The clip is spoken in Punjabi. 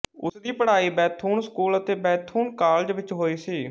ਉਸ ਦੀ ਪੜ੍ਹਾਈ ਬੈਥੂਨ ਸਕੂਲ ਅਤੇ ਬੈਥੂਨ ਕਾਲਜ ਵਿੱਚ ਹੋਈ ਸੀ